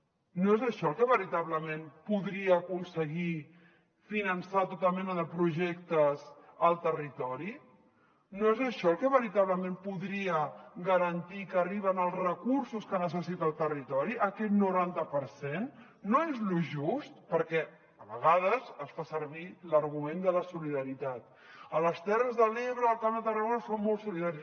no és això el que veritablement podria aconseguir finançar tota mena de projectes al territori no és això el que veritablement podria garantir que arriben els recursos que necessita el territori aquest noranta per cent no és lo just perquè a vegades es fa servir l’argument de la solidaritat a les terres de l’ebre al camp de tarragona són molt solidaris